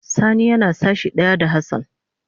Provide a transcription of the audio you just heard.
Sani yana sashi daya da Hassan.